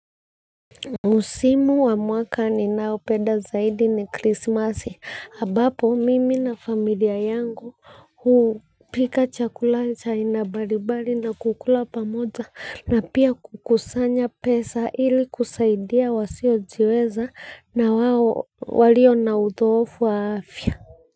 Msimu wa mwaka ninaopeda zaidi ni krismasi abapo mimi na familia yangu hupika chakula cha aina balibali na kukula pamoja na pia kukusanya pesa ili kusaidia wasiojiweza na walio na utofu wa afya.